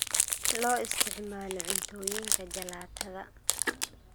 Loo isticmaalo cuntooyinka jalaatada.